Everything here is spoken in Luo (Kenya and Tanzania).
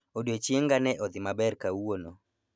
Odiechienga ne odhi maber kawuono